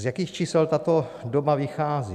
Z jakých čísel tato doba vychází?